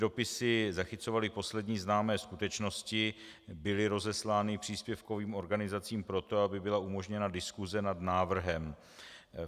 Dopisy zachycovaly poslední známé skutečnosti, byly rozeslány příspěvkovým organizacím pro to, aby byla umožněna diskuse nad návrhem.